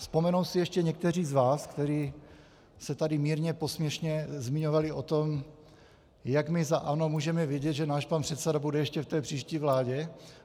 Vzpomenou si ještě někteří z vás, kteří se tady mírně posměšně zmiňovali o tom, jak my za ANO můžeme vědět, že náš pan předseda bude ještě v té příští vládě?